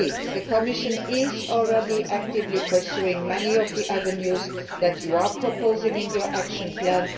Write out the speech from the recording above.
The Commission is already actively pursuing many of the avenues that you are proposing in your action plan.